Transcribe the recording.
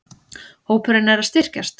Hópurinn er að styrkjast.